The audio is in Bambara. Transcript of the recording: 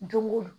Don go don